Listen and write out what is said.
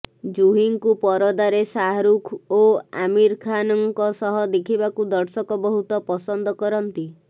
ଜୁହିଙ୍କୁ ପରଦାରେ ଶାହରୁଖ ଓ ଆମୀର ଖାନଙ୍କ ସହ ଦେଖିବାକୁ ଦର୍ଶକ ବହୁତ ପସନ୍ଦ କରନ୍ତି